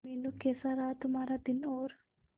मीनू कैसा रहा तुम्हारा दिन और